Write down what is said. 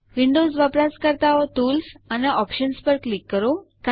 Windows વપરાશકર્તાઓ tools અને options પર ક્લિક કરો